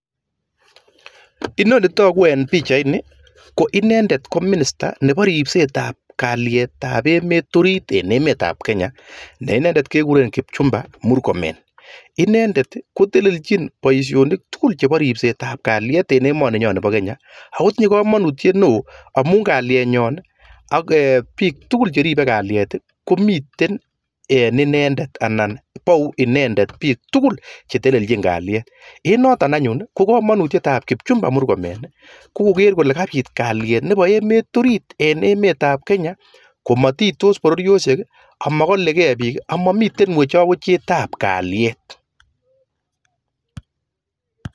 Inoni netaku en pichait ko minister Nebo ribset ab kalyet en emet komukul ako kamanutyet nyi kokorib emet matkobit wechet ab kalyet ako kikure kipchumba murkomen